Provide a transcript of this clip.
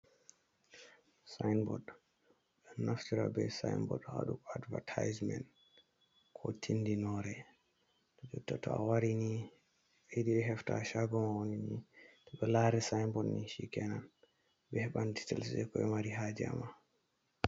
Saayinbod, ɓe ɗo naftira be saayinbord haa waɗugo advatayismen ko tindinoore. Jotta to a wari ni, ɓe yiɗi ɓe heftan caago man woni ni, to ɓe laari saayinbod ni cikenan, ɓe heɓan diitel, jey ko ɓe mari haaje haa ma.